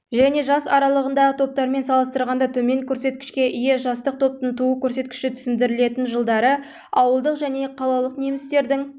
және жас аралығындағы топтармен салыстырғанда төмен көрсеткішке ие жастық топтың туу көрсеткіші түсіндірілетін жылдары ауылдық және қалалық немістердің